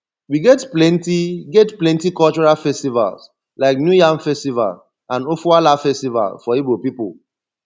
we get plenty get plenty cultural festivals like new yam festival and ofoala festival for igbo people